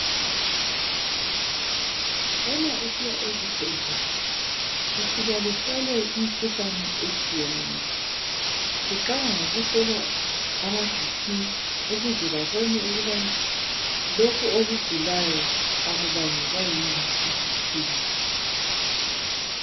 Uma usiya esibhedlela ufika uhlohlwe imikhuhlane etshiyeneyo. Kuqalwa ngokuhlolwa imikhuhlane efana laboBp ukuze babone ukuthi lokho okugulayo akubangelwa yiyo yini.